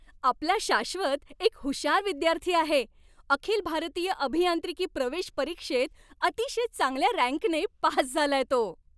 आपला शाश्वत एक हुशार विद्यार्थी आहे! अखिल भारतीय अभियांत्रिकी प्रवेश परीक्षेत अतिशय चांगल्या रँकने पास झालाय तो.